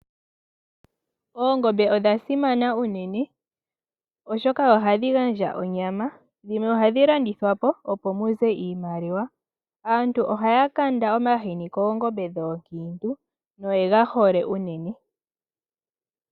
Oongombe odha simana unene oshoka ohadhi gandja onyama. Dhimwe ohadhi landithwapo, opo muze iimaliwa. Aantu ohaya kanda omahini koongombe dhoondema, noyega hole unene.